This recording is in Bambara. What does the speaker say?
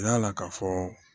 Yala ka fɔ